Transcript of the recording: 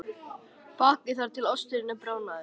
Bakið þar til osturinn er bráðnaður.